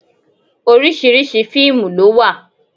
Oríṣiríṣi fíìmù ló wà.